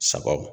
Sago